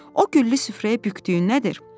O güllü süfrəyə bükdüyün nədir?”